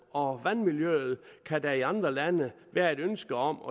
og vandmiljøet kan der i andre lande være et ønske om